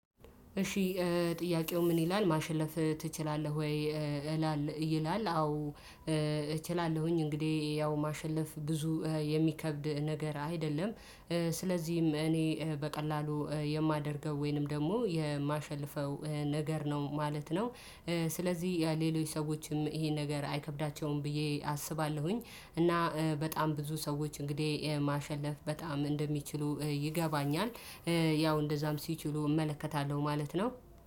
እሺ ጥያቄው ምን ይላል ማሸለፍ ትችላለህ ወይ? እላለህ ይላል። አዎ። እችላለሁኝ እንግዲህ ያው ማሸለፍ ብዙ የሚከብድ ነገር አይደለም። ስለዚህም እኔ በቀላሉ የማደርገው ወይንም ደግሞ የማሸልፈው ነገር ነው ማለት ነው። ስለዚህ የሌሎች ሰዎችም ይሄን ነገር አይከብዳቸውም ብዬ አስባለሁኝ። እና በጣም ብዙ ሰዎች እንግዲህ ማሸለፍ በጣም እንደሚችሉ ይገባኛል። ያው እንደዛም ሲችሉ እመለከታለሁ ማለት ነው።